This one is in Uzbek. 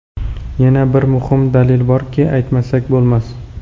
Yana bir muhim dalil borki, aytmasak bo‘lmas.